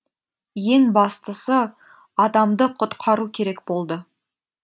ең бастысы адамды құтқару керек болды